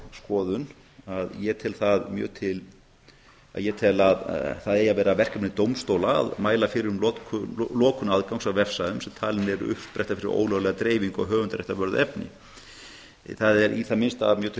skoðun að ég tel að það eigi að vera verkefni dómstóla að mæla fyrir um lokun aðgangs að vefsvæðum sem talin eru uppspretta fyrir ólöglega dreifingu á höfundaréttarvörðu efni það er í það minnsta mjög til